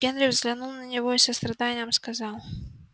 генри взглянул на него с состраданием и сказал